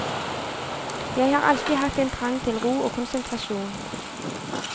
Jeg har alltid hatt en trang til ro og konsentrasjon.